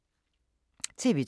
TV 2